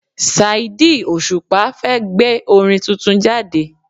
Saidi Òṣùpá fẹ́ gbé orin tuntun jáde